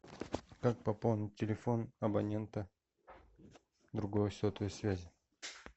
как пополнить телефон абонента другой сотовой связи